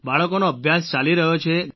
બાળકોનો અભ્યાસ ચાલી રહ્યો છે